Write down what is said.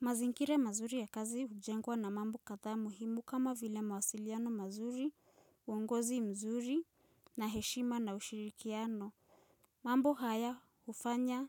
Mazingira mazuri ya kazi hujengwa na mambo kadhaa muhimu kama vile mawasiliano mazuri, uongozi mzuri, na heshima na ushirikiano. Mambo haya hufanya